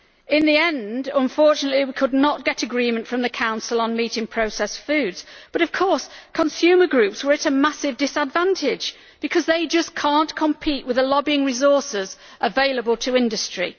In the end, unfortunately, we could not get agreement from the Council on meat in processed foods. But of course, consumer groups were at a massive disadvantage, because they just cannot compete with the lobbying resources available to industry.